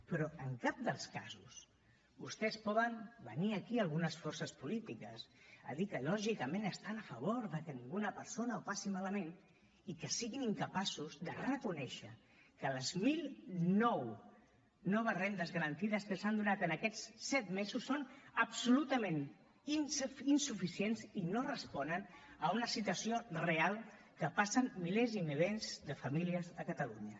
però en cap dels casos vostès poden venir aquí algunes forces polítiques a dir que lògicament estan a favor de que ninguna persona ho passi malament i que siguin incapaços de reconèixer que les mil nou noves rendes garantides que s’han donat aquests set mesos són absolutament insuficients i no responen a una situació real que passen milers i milers de famílies a catalunya